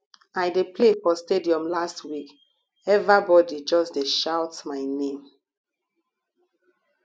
i dey play for stadium last week everbodi just dey shout my name